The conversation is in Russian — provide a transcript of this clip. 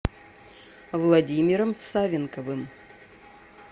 владимиром савенковым